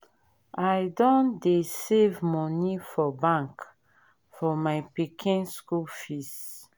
i don dey save moni for bank for my pikin school fees